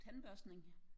Tandbørstning